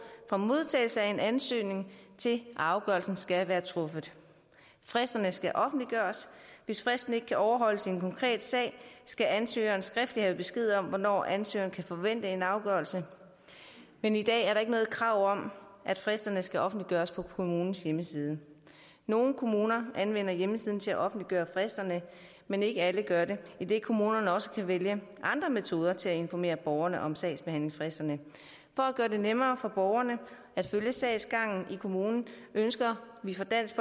fra modtagelse af en ansøgning til afgørelsen skal være truffet fristerne skal offentliggøres hvis fristen ikke kan overholdes i en konkret sag skal ansøgeren skriftligt have besked om hvornår ansøgeren kan forvente en afgørelse men i dag er der ikke noget krav om at fristerne skal offentliggøres på kommunens hjemmeside nogle kommuner anvender hjemmesiden til at offentliggøre fristerne men ikke alle gør det idet kommunerne også kan vælge andre metoder til at informere borgerne om sagsbehandlingsfristerne for at gøre det nemmere for borgerne at følge sagsgangen i kommunen ønsker vi fra dansk